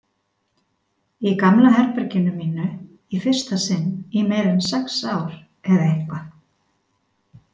Í gamla herberginu mínu, í fyrsta sinn í meira en sex ár eða eitthvað.